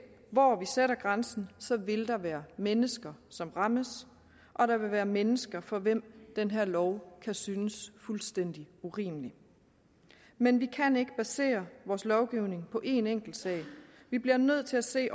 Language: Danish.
hvor vi sætter grænsen vil der være mennesker som rammes og der vil være mennesker for hvem den her lov kan synes fuldstændig urimelig men vi kan ikke basere vores lovgivning på en enkeltsag vi bliver nødt til at se